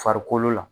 Farikolo la